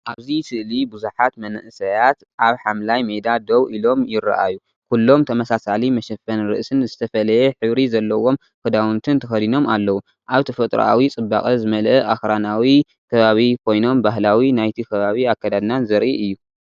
ኣብዚ ስእሊ ብዙሓት መንእሰያት ኣብ ሓምላይ ሜዳ ደው ኢሎም ይረኣዩ። ኩሎም ተመሳሳሊ መሸፈኒ ርእሲን ዝተፈላለየ ሕብሪ ዘለዎም ክዳውንትን ተኸዲኖም ኣለዉ። ኣብ ተፈጥሮኣዊ ጽባቐ ዝመልአ ኣኽራናዊ ከባቢ ኮይኖም ባህላዊ ናይቲ ከባቢ ኣከዳድናን ዘርኢ እዩ።